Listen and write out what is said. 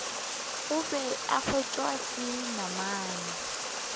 gobe e wetšwa ke namane